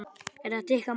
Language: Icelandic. Er þetta ykkar mál?